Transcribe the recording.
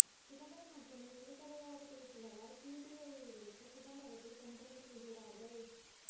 சிதம்பரம் மட்டுமே வெளிப் படையாக பேசுவதால் சிபிஐயை வைத்து சிதம்பரத்தை தொந்தரவு செய்கிறர்கள்